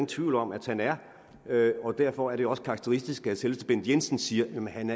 tvivl om at han er og derfor er det også karakteristisk at selveste bent jensen siger at han